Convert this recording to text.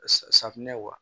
Safinɛ wa